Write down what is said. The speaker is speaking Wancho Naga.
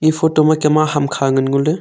eye photo ma kem ang hamkha ngan ngo ley.